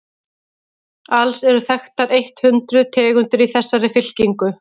alls eru þekktar eitt hundruð tegundir í þessari fylkingu